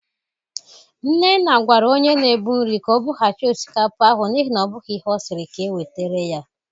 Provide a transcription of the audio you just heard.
Nnenna gwara onye na-ebụ nri ka o bụghachị osikapa ahụ n'ihi na ọ bụghị ihe ọ siri ka ewetere ya.